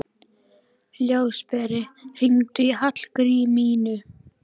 Ljósberi, hringdu í Hallgrímínu.